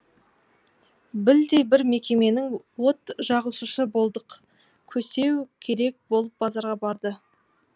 білдей бір мекеменің от жағушысы бодық көсеу керек болып базарға барды